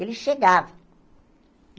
Ele chegava.